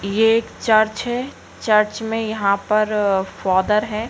ये एक चर्च है चर्च में यहाँ पर फादर है।